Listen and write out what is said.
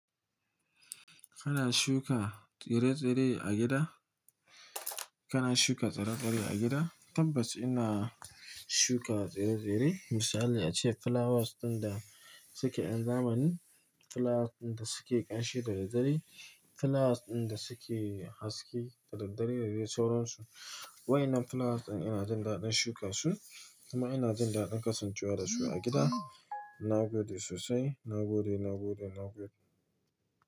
Kana shuka tsire-tsire a gida? Kana shuka tsire-tsire a gida? Tabbas ina shuka tsire-tsire. Misali ace flowers ɗin da suke yan zamani, flowers ɗin da suke ƙanshi da daddare, flowers ɗin da suke haske da daddare da dai sauran su. Wayannan flowers ɗin ina jin daɗin shuka su kuma ina jin daɗin kasancewa da su a gida. Na gode sosai. Na gode, na gode, na gode.